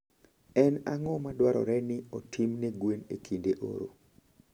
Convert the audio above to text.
En ang'o madwarore ni otim ne gwen e kinde oro?